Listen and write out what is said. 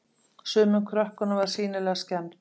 Sumum krökkunum var sýnilega skemmt.